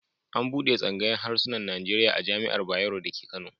An buɗe tsangayar hasunan Najeriya a Jami'ar Bayero dake Kano.